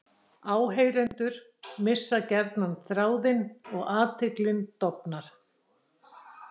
Áheyrendur missa gjarnan þráðinn og athyglin dofnar.